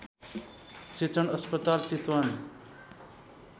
शिक्षण अस्पताल चितवन